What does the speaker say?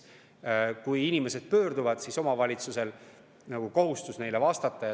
Kui inimesed pöörduvad, siis omavalitsusel on kohustus neile vastata.